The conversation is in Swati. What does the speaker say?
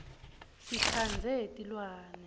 sitsandze tilwane